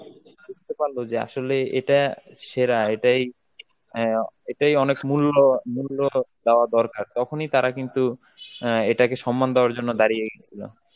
বুঝতে পারল যে আসলে এটা সেরা, এটাই অ্যাঁ এটাই অনেক স~ মূল্য~ মূল্যটা দেওয়া দরকার, তখনই তারা কিন্তু অ্যাঁ এটাকে সম্মান দেওয়ার জন্য দাঁড়িয়ে গেছিল.